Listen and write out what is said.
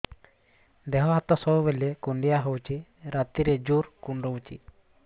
ଦେହ ହାତ ସବୁବେଳେ କୁଣ୍ଡିଆ ହଉଚି ରାତିରେ ଜୁର୍ କୁଣ୍ଡଉଚି